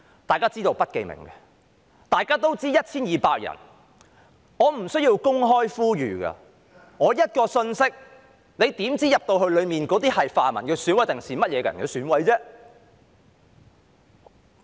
大家都知道是不記名的，也知道有 1,200 人，我不需要公開呼籲，只須發一個信息，你怎知道當中是泛民的選委，還是甚麼人的選委呢？